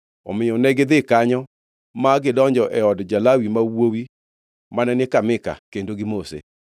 Omiyo negidhi kanyo ma gidonjo e od ja-Lawi ma wuowi mane ni ka Mika kendo gimose.